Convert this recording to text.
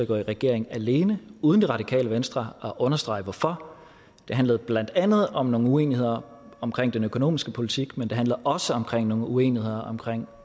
gå i regering alene uden det radikale venstre at understrege hvorfor det handler blandt andet om nogle uenigheder om den økonomiske politik men det handler også om nogle uenigheder om